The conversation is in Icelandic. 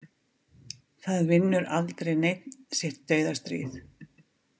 Það vinnur aldrei neinn sitt dauðastríð.